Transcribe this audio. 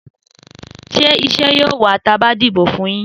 Sẹ ìsẹ yio wà tàbá dibo fún yin?